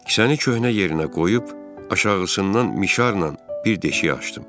Kisəni köhnə yerinə qoyub, aşağısından mişarla bir deşik açdım.